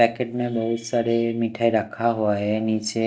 packet में बहोत सारे मिठाई रखा हुआ है नीचे--